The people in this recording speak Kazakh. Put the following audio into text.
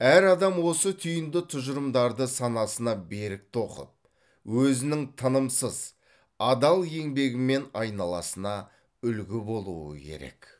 әр адам осы түйінді тұжырымдарды санасына берік тоқып өзінің тынымсыз адал еңбегімен айналасына үлгі болуы керек